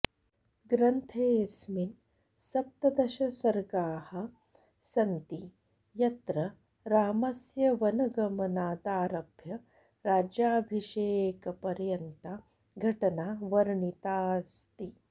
ग्रन्थेऽस्मिन् सप्तदशसर्गाः सन्ति यत्र रामस्य वनगमनादारभ्य राज्याभिषेकपर्यन्ता घटना वर्णिताऽस्ति